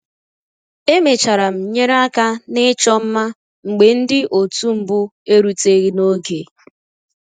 Emechara m nyere aka na ịchọ mma mgbe ndị otu mbụ eruteghi n'oge